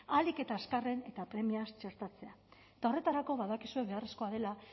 ahalik eta azkarren eta premiaz txertatzea eta horretarako badakizue beharrezkoa dela